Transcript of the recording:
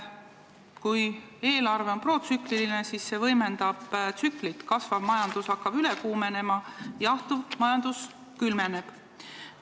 Kui eelarve on protsükliline, siis see võimendab tsüklit: kasvav majandus hakkab üle kuumenema, jahtuv majandus külmeneb.